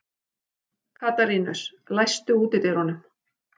Katarínus, læstu útidyrunum.